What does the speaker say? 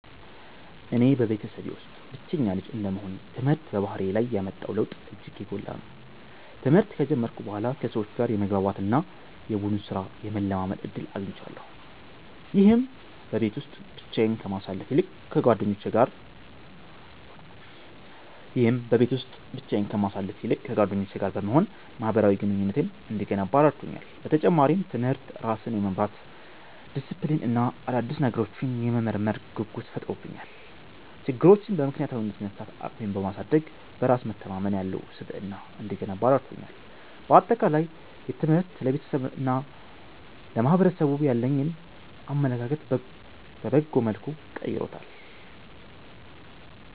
እኔ በቤተሰቤ ውስጥ ብቸኛ ልጅ እንደመሆኔ፣ ትምህርት በባህሪዬ ላይ ያመጣው ለውጥ እጅግ የጎላ ነው። ትምህርት ከጀመርኩ በኋላ ከሰዎች ጋር የመግባባት እና የቡድን ሥራን የመለማመድ ዕድል አግኝቻለሁ። ይህም በቤት ውስጥ ብቻዬን ከማሳልፍ ይልቅ ከጓደኞቼ ጋር በመሆን ማኅበራዊ ግንኙነቴን እንድገነባ ረድቶኛል። በተጨማሪም፣ ትምህርት ራስን የመምራት ዲሲፕሊን እና አዳዲስ ነገሮችን የመመርመር ጉጉት ፈጥሮብኛል። ችግሮችን በምክንያታዊነት የመፍታት አቅሜን በማሳደግ፣ በራስ መተማመን ያለው ስብዕና እንድገነባ ረድቶኛል። በአጠቃላይ፣ ትምህርት ለቤተሰቤና ለማኅበረሰቡ ያለኝን አመለካከት በበጎ መልኩ ቀይሮታል።